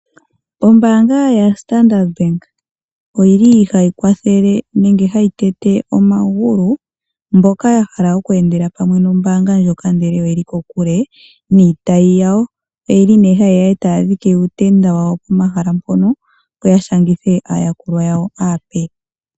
Ombaanga yaStandard Bank ohayi kwathele nenge hayi kondo omagulu mboka ya hala oku endela pamwe nombaanga ndjika ihe oye li kokule niitayi yawo. Ohaya dhike uutenda wawo pomahala mpono, opo ya shangithe aayakulwa yawo aape.